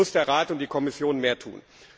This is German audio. Hier müssen der Rat und die Kommission mehr tun!